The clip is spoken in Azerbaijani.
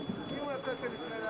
İndi bu tələbdir.